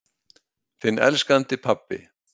Þinn elskandi pabbi.